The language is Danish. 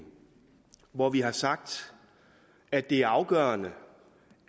hvor vi har sagt at det er afgørende